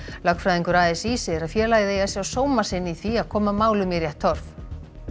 lögfræðingur a s í segir að félagið eigi að sjá sóma sinn í því að koma málum í rétt horf